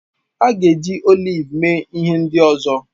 A ga-eji oliv mee ihe ndị ọzọ